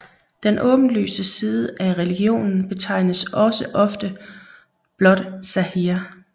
Den åbenlyse side af religionen betegnes også ofte blot zâhir